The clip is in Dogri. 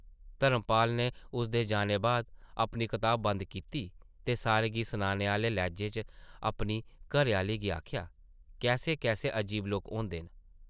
धर्मपाल नै उसदे जाने बाद अपनी कताब बंद कीती ते सारें गी सनाने आह्ले लैह्जे च अपनी घरै-आह्ली गी आखेआ , कैसे- कैसे अजीब लोक होंदे न ?